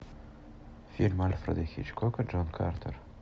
фильм альфреда хичкока джон картер